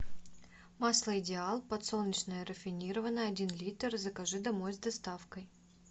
масло идеал подсолнечное рафинированное один литр закажи домой с доставкой